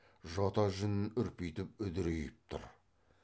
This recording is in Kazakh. жота жүнін үрпитіп үдірейіп тұр